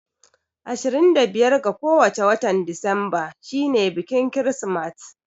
Ashirin da biyar ga kowace watan disemba shi ne biƙin kirismat